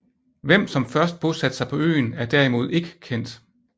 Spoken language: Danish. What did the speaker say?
Hvem som først bosatte sig på øen er derimod ikke kendt